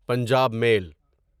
Punjab میل